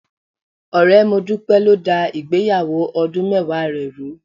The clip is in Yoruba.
Ọ̀rẹ́ Modúpẹ́ ló dá ìgbéyàwó ọdún mẹ́wàá rẹ̀ rùú.